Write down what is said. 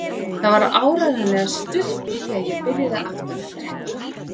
Það var áreiðanlega stutt í að ég byrjaði aftur að drekka.